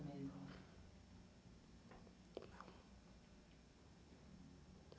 mesmo?